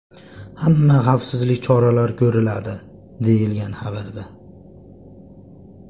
Hamma xavfsizlik choralari ko‘riladi, deyilgan xabarda.